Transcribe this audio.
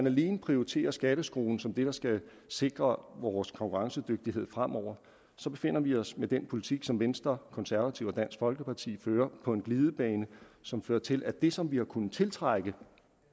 alene prioriterer skatteskruen som det der skal sikre vores konkurrencedygtighed fremover befinder vi os med den politik som venstre konservative og dansk folkeparti fører på en glidebane som fører til at det som vi har kunnet tiltrække